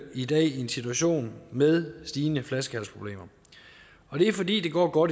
i dag i en situation med stigende flaskehalsproblemer og det er fordi det går